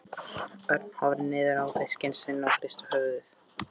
Örn horfði niður á diskinn sinn og hristi höfuðið.